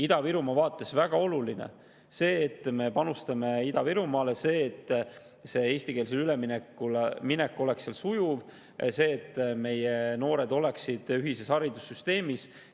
Ida-Virumaa vaates on väga oluline see, et me panustame Ida-Virumaale, see, et eestikeelsele üleminek oleks sujuv, see, et meie noored oleksid ühises haridussüsteemis.